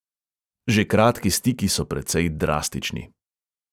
Že kratki stiki so precej drastični.